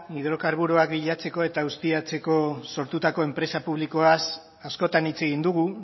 hidrokarburoak bilatzeko eta ustiatzeko sortutako enpresa publikoaz askotan hitz egin dugu